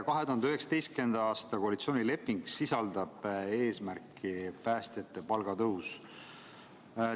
2019. aasta koalitsioonileping sisaldab eesmärki – päästjate palgatõus.